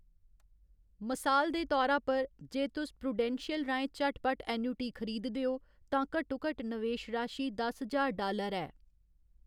मसाल दे तौरा पर, जे तुस प्रूडेंशियल राहें झटपट एन्युटी खरीददे ओ, तां घट्टोघट्ट नवेश राशी दस ज्हार डालर ऐ।